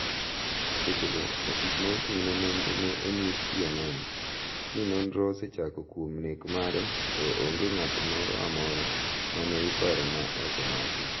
seche go ofis ma ochung ne nonro ne onyiso CNN. ni nonro osechako kuom nek mare to onge ng'ato moro amora ma ne iparo ma osemaki.